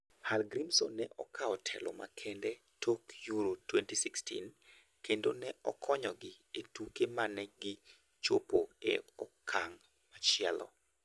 Hallgrimsson ne okawo telo makende tok Euro 2016 kendo ne okonyogi e tuke mane gi chopogo e okang' machielo.